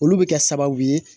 Olu bɛ kɛ sababu ye